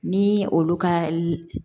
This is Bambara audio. Ni olu ka